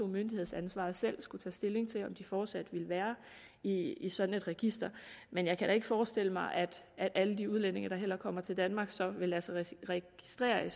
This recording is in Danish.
myndighedsansvaret skulle tage stilling til om de fortsat vil være i i sådan et register men jeg kan da ikke forestille mig at alle de udlændinge der kommer til danmark så vil lade sig registrere i